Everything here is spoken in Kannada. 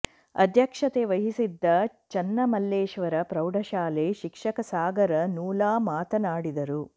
ಅಧ್ಯಕ್ಷತೆ ವಹಿಸಿದ್ದ ಚನ್ನಮಲ್ಲೇಶ್ವರ ಪ್ರೌಢಶಾಲೆ ಶಿಕ್ಷಕ ಸಾಗರ ನೂಲಾ ಮಾತನಾಡಿದರು